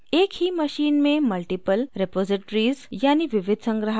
एक ही machine में multiple रेपॉज़िटरीज़ यानि विविध संग्राहक बनाए जा सकते हैं